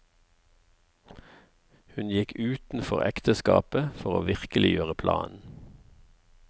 Hun gikk utenfor ekteskapet for å virkeliggjøre planen.